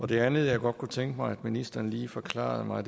det andet jeg godt kunne tænke mig at ministeren lige forklarer mig